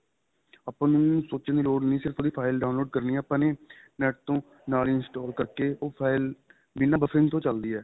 ਆਪਾਂ ਨੂੰ ਸੋਚਣ ਦੀ ਲੋੜ ਨੀ ਸਿਰਫ ਉਹਦੀ file download ਕਰਨੀ ਏ ਆਪਾਂ ਨੇ NET ਤੋਂ ਨਾਲ ਹੀ install ਕਰ ਕੇ ਉਹ file ਬਿੰਨਾ buffering ਤੋਂ ਚੱਲਦੀ ਏ